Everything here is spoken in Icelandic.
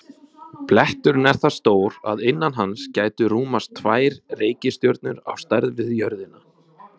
Bletturinn er það stór að innan hans gætu rúmast tvær reikistjörnur á stærð við jörðina.